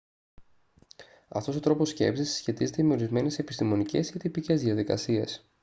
αυτός ο τρόπος σκέψης συσχετίζεται με ορισμένες επιστημονικές ή τυπικές διαδικασίες